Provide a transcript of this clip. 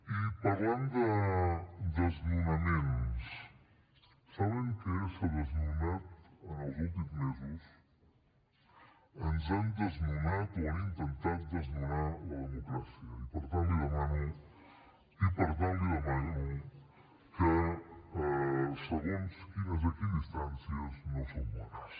i parlant de desnonaments saben què s’ha desnonat en els últims mesos ens han desnonat o han intentat desnonar la democràcia i per tant li demano que segons quines equidistàncies no són bones